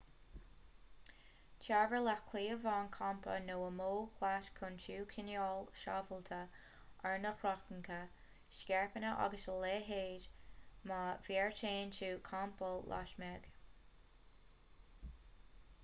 tabhair leat cliabhán campa nó ámóg leat chun tú a choinneáil sábháilte ar nathracha scairpeanna agus a leithéid má bheartaíonn tú campáil lasmuigh